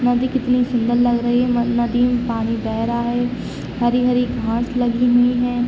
नदी कितनी सुंदर लग रही है म नदी मे पानी बह रहा है हरी-हरी घास लगी हुई हैं।